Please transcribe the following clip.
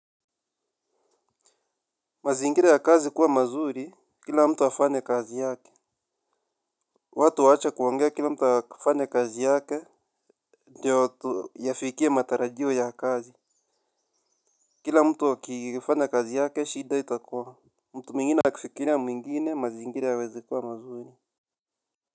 Mazingira ya kazi kuwa mazuri, kila mtu afanye kazi yake. Watu waache kuongea kila mtu afanye kazi yake. Ndiovtuyafikie matarajio ya kazi. Kila mtu akifanya kazi yake, shida itakuwa mtu mwingine akifikiria mwingine mazingiri yawezi kuwa mazuri.